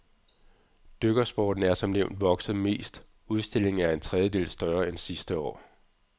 Dykkersporten er som nævnt vokset mest, udstillingen er en tredjedel større end sidste år.